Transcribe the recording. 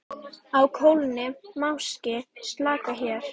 Á klónni máski slaka hér.